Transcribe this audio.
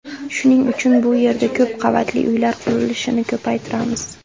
Shuning uchun bu yerda ko‘p qavatli uylar qurilishini ko‘paytiramiz.